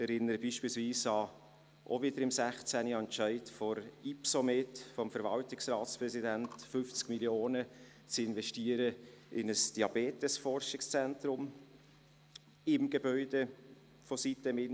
Ich erinnere beispielsweise an den auch wiederum im Jahr 2016 getroffenen Entscheid der Ypsomed beziehungsweise von deren Verwaltungsratspräsident, 15 Mio. Franken in ein Diabetesforschungszentrum im Gebäude der sitem-insel zu investieren.